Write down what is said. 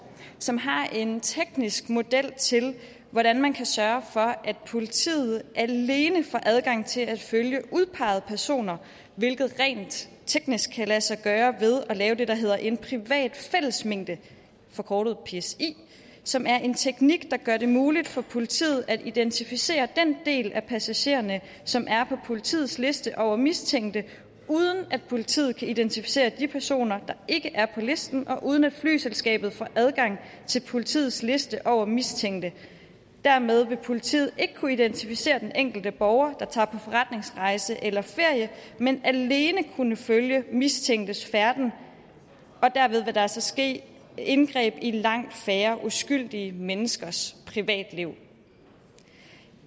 som har en teknisk model til hvordan man kan sørge for at politiet alene får adgang til at følge udpegede personer hvilket rent teknisk kan lade sig gøre ved at lave det der hedder en privat fællesmængde forkortet psi som er en teknik der gør det muligt for politiet at identificere den del af passagererne som er på politiets liste over mistænkte uden at politiet kan identificere de personer der ikke er på listen og uden at flyselskabet får adgang til politiets liste over mistænkte dermed vil politiet ikke kunne identificere den enkelte borger der tager på forretningsrejse eller ferie men alene kunne følge mistænktes færden og derved vil der altså ske indgreb i langt færre uskyldige menneskers privatliv